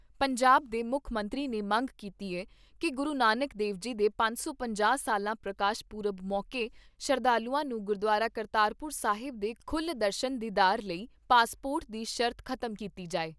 ਪੰਜਾਬ ਦੇ ਮੁੱਖ ਮੰਤੀ ਨੇ ਮੰਗ ਕੀਤੀ ਏ ਕਿ ਗੁਰੂ ਨਾਨਕ ਦੇਵ ਜੀ ਦੇ ਸਾਢੇ ਪੰਜ ਸੌ ਸਾਲਾ ਪ੍ਰਕਾਸ਼ ਪੁਰਬ ਮੌਕੇ, ਸ਼ਰਧਾਲੂਆਂ ਨੂੰ ਗੁਰਦੁਆਰਾ ਕਰਤਾਰਪੁਰ ਸਾਹਿਬ ਦੇ ਖੁੱਲ ਦਰਸ਼ਨ ਦੀਦਾਰ ਲਈ, ਪਾਸਪੋਰਟ ਦੀ ਸ਼ਰਤ ਖਤਮ ਕੀਤੀ ਜਾਏ।